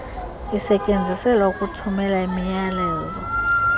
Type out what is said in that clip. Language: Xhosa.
isetyenziselwa ukuthumela imiyalezo